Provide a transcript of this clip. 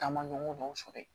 Taama ɲɔgɔn dɔw sɔrɔ yen